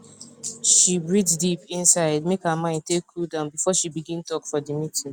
she breath deep inside make her mind take cool down before she begin talk for the meeting